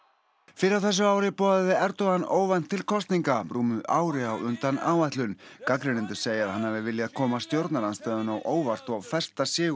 fyrr á þessu ári boðaði Erdogan óvænt til kosninga rúmu ári á undan áætlun gagnrýnendur segja að hann hafi viljað koma stjórnarandstöðunni á óvart og festa sig